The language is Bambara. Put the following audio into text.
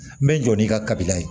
N bɛ n jɔ n'i ka kabila ye